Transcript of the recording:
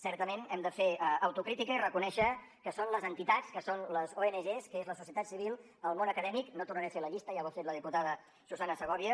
certament hem de fer autocrítica i reconèixer que són les entitats que són les ong que és la societat civil el món acadèmic no tornaré a fer la llista ja ho ha fet la diputada susanna segovia